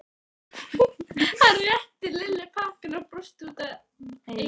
Hann rétti Lillu pakkann og brosti út að eyrum.